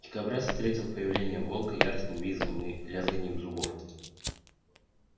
дикобраз встретил появление волка яростным визгом и лязганьем зубов